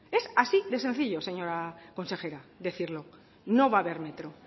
es así de sencillo señora consejera decirlo no va a haber metro